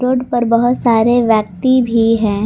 Road पर बहुत सारे व्यक्ति भी हैं।